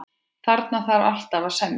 Þarna þarf alltaf að semja.